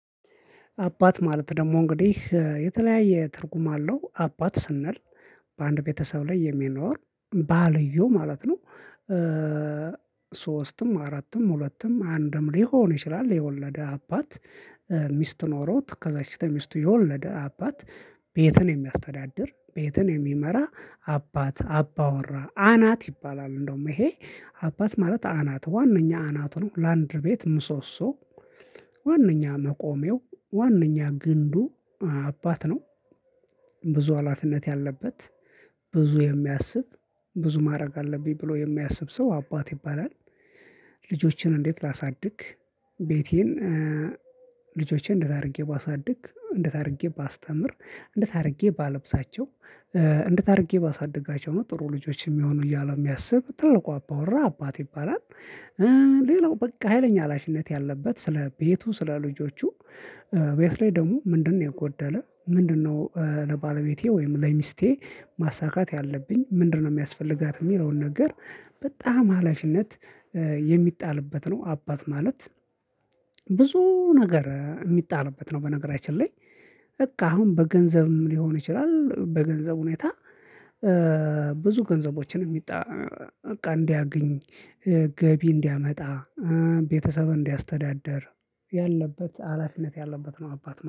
አባት ማለት ደግሞ እንግዲህ የተለያየ ትርጉም አለው። አባት ስንል በአንድ ቤተሰብ ላይ የሚኖር ባልየው ማለት ነው። ሶስትም ፥አራትም፥ ሁለትም፥ አንድም ሊሆን ይችላል የወለደ አባት ሚስት ኖሮት ከዛች ተሚስቱ የወለደ አባት ቤትን የሚያስተዳድር። ቤትን የሚመራ፥ አባት፥ አባወራ፥ አናት ይባላል። እንደውም ይሄ አባት ማለት አናት ዋናኛ አናቱ ነው። ላንድር ቤት ምሶሶ ዋነኛ መቆሜው ዋነኛ ግንዱ አባት ነው። ብዙ ሀላፊነት ያለበት ፥ብዙ የሚያስብ፥ ብዙ ማድረግ አለብኝ ብሎ የሚያስብ ሰው አባት ይባላል። ልጆችን እንዴት ላሳድግ፥ ቤቴን ልጆቼን እንዴት አድርጌ ባሳድግ፥ እንዴት አድርጌ ባስተምር፥ እንዴት አድርጌ ባለብሳቸው ፥እንዴት አድርጌ ባሳድጋቸው ነው ጥሩ ልጆች የሚሆኑ እያለ የሚያስብ ትልቁ አባወራ አባት ይባላል። ሌላው በቃ ሀይለኛ ሀላፊነት ያለበት ስለ ቤቱ ስለ ልጆቹ ቤት ላይ ደግሞ ምንድነው የጎደለ ፥ምንድነው ለባለቤቴ ወይም ለሚስቴ ማሳካት ያለብኝ፥ ምንድነው የሚያስፈልጋት የሚለውን ነገር በጣም ሀላፊነት የሚጣልበት ነው አባት ማለት። ብዙ ነገር የሚጣልበት ነው። በነገራችን ላይ በቃ አሁን በገንዘብም ሊሆን ይችላል በገንዘብ ሁኔታ ብዙ ገንዘቦችን በቃ እንዲያገኝ ገቢ እንዲያመጣ ቤተሰብ እንዲያስተዳድር ያለበት ሀላፊነት ያለበት ነው አባት።